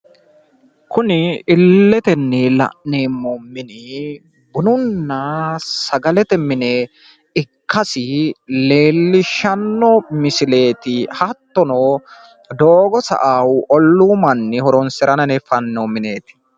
Kuni la'neemmo bununna sagalete mini ollu manni horonsirara fanonni mineti